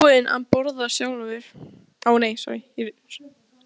Ég var ekkert búinn að borða sjálfur.